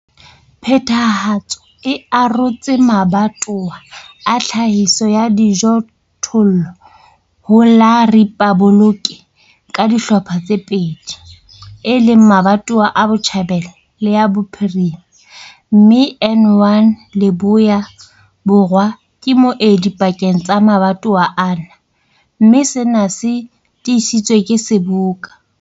Phethahatso e arotse mabatowa a tlhahiso ya dijothollo ho la riphaboloke ka dihlopha tse pedi, e leng mabatowa a Botjhabela le a Bophirima, mme N1 Leboya-Borwa ke moedi pakeng tsa mabatowa ana, mme sena se tiisitswe ke Seboka.